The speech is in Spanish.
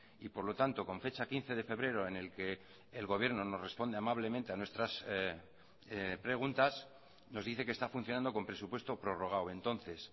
y por lo tanto con fecha quince de febrero en el que el gobierno nos responde amablemente a nuestras preguntas nos dice que está funcionando con presupuesto prorrogado entonces